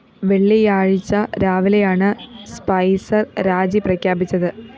വെള്ളിയാഴ്ച രാവിലെയാണ് സ്പൈസര്‍ രാജി പ്രഖ്യാപിച്ചത്